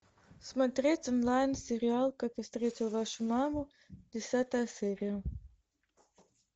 смотреть онлайн сериал как я встретил вашу маму десятая серия